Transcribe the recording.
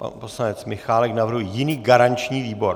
Pan poslanec Michálek navrhuje jiný garanční výbor?